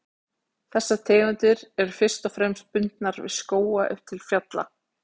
Þessar tegundir eru fyrst og fremst bundnar við skóga upp til fjalla.